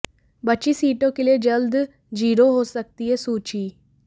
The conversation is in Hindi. बची सीटों के लिए जल्द जारी हो सकती है सूची